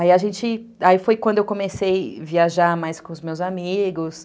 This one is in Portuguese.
Aí foi quando eu comecei a viajar mais com os meus amigos...